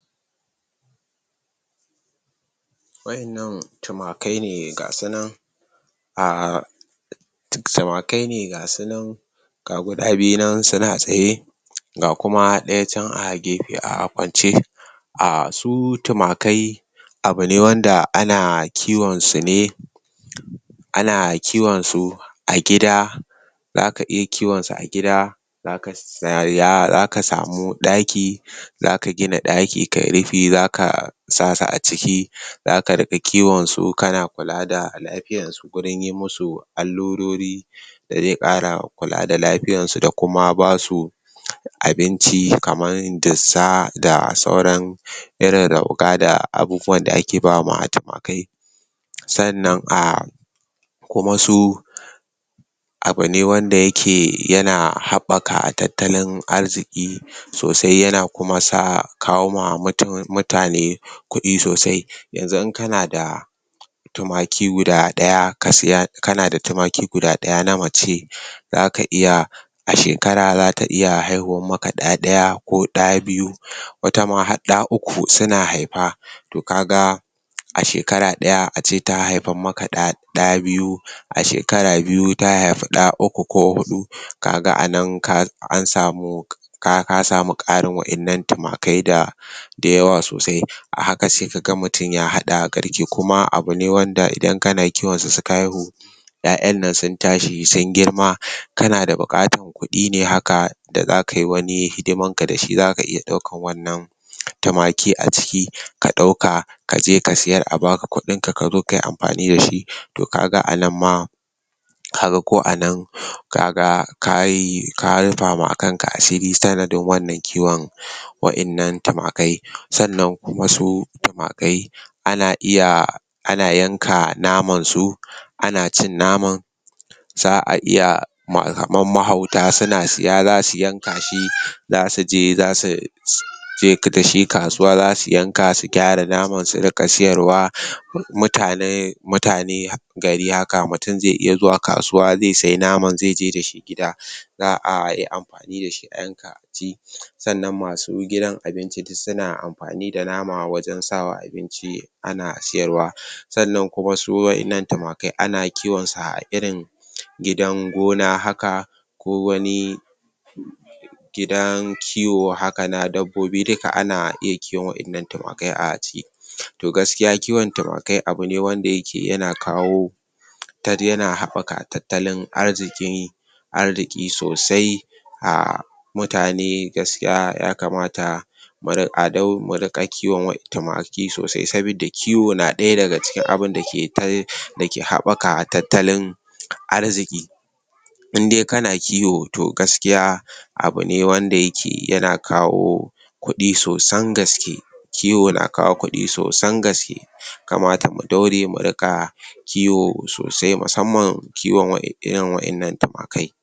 Waɗannan tumakai ne ga su nan. A, tumakai ne ga su nan, ga guda biyu nan suna tsaye, ga kuma ɗaya can a gefe a kwance. A, su tumakai, abu ne wanda ana kiwon su ne, A na kiwonsu a gida. Za ka iya kiwonsu a gida. Za ka samu ɗaki. Za ka gina ɗaki ka yi rufi, za ka sa su a ciki. Za ka riƙa kiwonsu, kana kula da lafiyarsu. gurin yi musu allurori, da dai ƙara kula da lafiyarsu, da kuma ba su abinci kamar dussa da sauran irin rauga, da abubuwan da ake ba wa tumakai. Sannan a, kuma su abu ne wanda yake yana haɓɓaka tattalin arziƙi sosai, yana kuma kawo wa mutane kuɗi sosai. Yanzu in kana da, tumaki guda ɗaya namace, za ka iya a shekara, za ta iya haihuwar maka ɗa ɗaya, ko ɗa biyu. Wata ma har ɗa uku suna haifa. To ka ga, a shekara ɗaya, a ce ta haifar maka ɗa biyu, a shekara biyu ta haifi ɗa uku ko huɗu. Ka ga a nan an samu ka ga ka samu ƙarin tumakai da da yawa sosai. A haka sai ka ga mutum ya haɗa garke. Kuma abu ne wanda idan kana kiwonsu suka haihu, ƴaƴan nan sun tashi sun girma kana da buƙatar kuɗi ne haka da za kai wani hidimarka da shi, za ka iya ɗaukar wannan tumaki a ciki ka ɗauka, ka je ka siyar a ba ka kuɗinka, ka zo ka yi amfani da shi. To ka ga a nan ma, ka rufa ma kanka asiri, sanadin wannan kiwon. waɗannan tumakai. Sannan kuma su, tumakai ana iya ana yanka namansu, ana cin naman, za a iya kamar mahauta, suna siya za suyanka shi. Za su je, za su je da shi kasuwa. Za su yanka, su gyara naman su riƙa siyarwa. Mutanen gari haka, mutun zai iya zuwa kasuwa, zai sayi naman, zai je da shi gida. Za a yi amfani da shi a yanka a ci. Sannan masu gidan abinci duk suna amfani da nama, wajen sa wa abinci, ana siyarwa. Sannan kuma su waɗannan tumakai ana kiwonsu a irin gidan gona haka ko wani, gidan kiwo haka na dabbobi duka ana iya kiwon waɗannan tumakai a ciki. To gaskiya kiwon tumakai abu ne wanda yake yana kawo, yana haɓaka tattalin arziƙi arziƙi sosai. A mutane, gaskiya ya kamata mu riƙa kiwon tumakai sosai. Saboda kiwo na ɗaya daga cikin abin da ke dake haɓaka tattalin arziƙi. In dai kana kiwo to gaskiya, abu ne wanda yake yana kawo, kuɗi sosan gaske. kiwo na kawo kuɗi sosan gaske. Ya kamata mu daure mu riƙa kiwo sasai, musamman kiwon irin waɗannan tumakai.